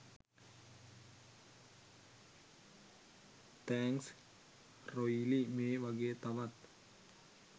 thanks රොයිලි මේ වගේ තවත්